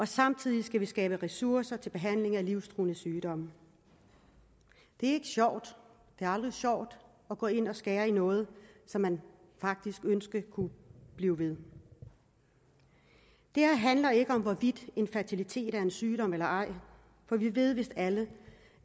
samtidig skal vi skabe ressourcer til behandling af livstruende sygdomme det er ikke sjovt det er aldrig sjovt at gå ind og skære i noget som man faktisk ønskede kunne blive ved det her handler ikke om hvorvidt infertilitet er en sygdom eller ej for vi ved vist alle